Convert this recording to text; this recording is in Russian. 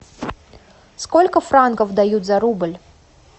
сколько франков дают за рубль